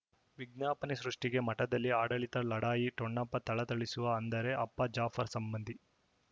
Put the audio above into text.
ವಿಜ್ಞಾಪನೆ ಸೃಷ್ಟಿಗೆ ಮಠದಲ್ಲಿ ಆಡಳಿತ ಲಢಾಯಿ ಠೊಣಪ ಥಳಥಳಿಸುವ ಅಂದರೆ ಅಪ್ಪ ಜಾಫರ್ ಸಂಬಂಧಿ